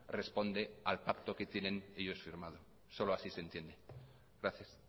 responde al pacto que tienen ellos firmado solo así se entiende gracias